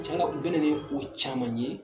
Cen na u bɛ na ni o caman ye.